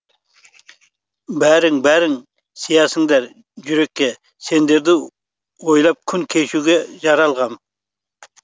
бәрің бәрің сыясыңдар жүрекке сендерді ойлап күн кешуге жаралғам